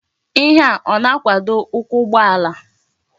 Ihe a o na-akwado ukwu ugboala?